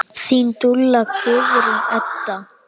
Þín dúlla, Guðrún Edda.